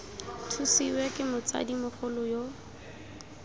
thusiwe ke motsadi mogolo yo